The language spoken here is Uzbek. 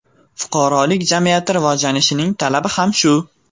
Fuqarolik jamiyati rivojlanishining talabi ham shu.